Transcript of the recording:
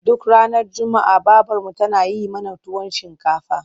Duk ranar juma'a babarmu tana yi mana tuwon shinkafa.